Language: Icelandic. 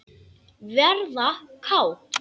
Verða kát.